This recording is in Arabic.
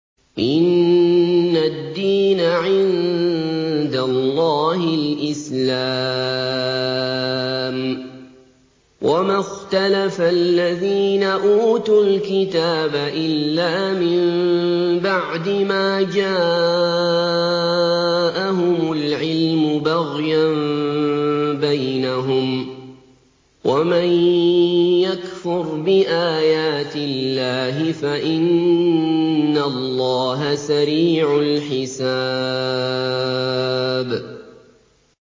إِنَّ الدِّينَ عِندَ اللَّهِ الْإِسْلَامُ ۗ وَمَا اخْتَلَفَ الَّذِينَ أُوتُوا الْكِتَابَ إِلَّا مِن بَعْدِ مَا جَاءَهُمُ الْعِلْمُ بَغْيًا بَيْنَهُمْ ۗ وَمَن يَكْفُرْ بِآيَاتِ اللَّهِ فَإِنَّ اللَّهَ سَرِيعُ الْحِسَابِ